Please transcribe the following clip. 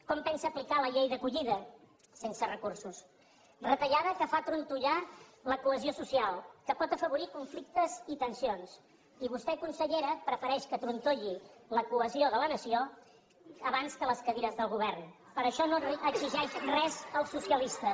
com pensa aplicar la llei d’acollida sense recursos retallada que fa trontollar la cohesió social que pot afavorir conflictes i tensions i vostè consellera prefereix que trontolli la cohesió de la nació abans que les cadires del govern per això no exigeix res als socialistes